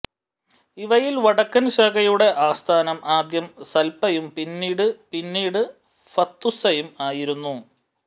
ഇവയിൽ വടക്കൻ ശാഖയുടെ ആസ്ഥാനം ആദ്യം സൽപ്പയും പിന്നീട് പിന്നീട് ഹത്തുസയും ആയിരുന്നു